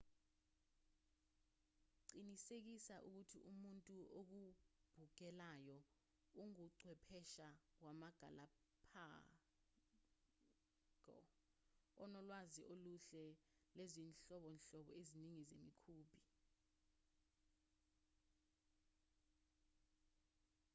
qinisekisa ukuthi umuntu okubhukelayo unguchwepheshe wamagalapago onalwazi oluhle lwezinhlobonhlobo eziningi zemikhumbi